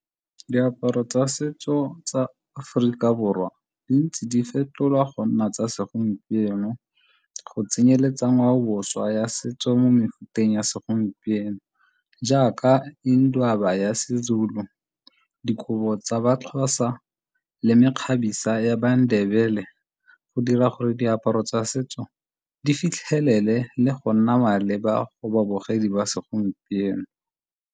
Diaparo tsa setso tsa Aforika Borwa di ntse di fetolwa go nna tsa segompieno go tsenyeletsa ngwaoboswa ya setso mo mefuteng ya segompieno jaaka ya seZulu, dikobo tsa ba Xhosa le mekgabisa ya ba Ndebele go dira gore diaparo tsa setso di fitlhelele le go nna maleba go babogedi ba segompieno.